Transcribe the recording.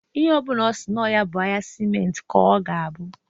Ihe ọ bụna ọ si nọ ya bụ ahịa siment ka ọ ga-abụ.